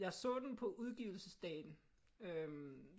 Jeg så den på udgivelsesdagen øh